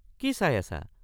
কি চাই আছা?